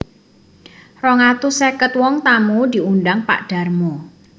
Rong atus sèket wong tamu diundang Pak Darmo